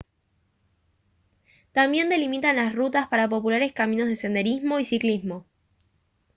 también delimitan las rutas para populares caminos de senderismo y ciclismo